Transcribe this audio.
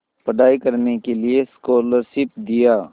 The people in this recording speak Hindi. पढ़ाई करने के लिए स्कॉलरशिप दिया